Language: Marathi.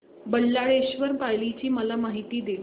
बल्लाळेश्वर पाली ची मला माहिती दे